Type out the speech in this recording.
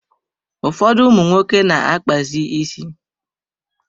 Ụfọdụ ụmụ nwoke na-akpazi isi.